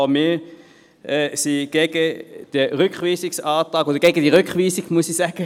Auch wir sind gegen die Rückweisung.